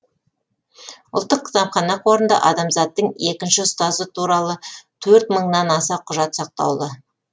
ұлттық кітапхана қорында адамзаттың екінші ұстазы туралы төрт мыңнан аса құжат сақтаулы